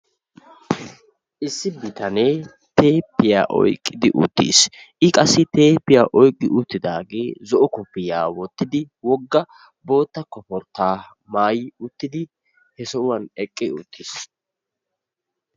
Issi biitane teepiya oyqqidi uttiis. I qassi teeppiya oyqqi uttidage zo'o koopiya wottidib wogga bootta koportta maayi uttidi he sohuwan eqqi uttiis.